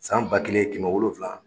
San ba kelen kɛmɛ wolonwula